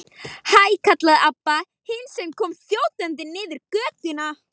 Hæ, kallaði Abba hin sem kom þjótandi niður götuna.